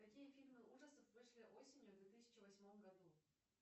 какие фильмы ужасов вышли осенью две тысячи восьмом году